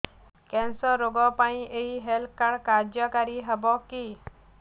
cancer ରୋଗ ପାଇଁ ଏଇ ହେଲ୍ଥ କାର୍ଡ କାର୍ଯ୍ୟକାରି ହେବ କି